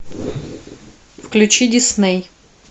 включи дисней